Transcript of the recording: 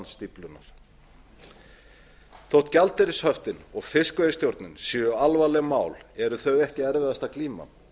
stíflunnar þó gjaldeyrishöftin og fiskveiðistjórnin séu alvarleg mál eru þau ekki erfiðasta glíman